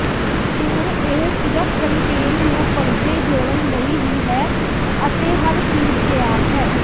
ਹੁਣ ਇਹ ਸਿਰਫ਼ ਕੰਟੇਨ ਨੂੰ ਪਰਦੇ ਜੋੜਨ ਲਈ ਹੀ ਹੈ ਅਤੇ ਹਰ ਚੀਜ਼ ਤਿਆਰ ਹੈ